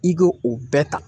I k'o o bɛɛ ta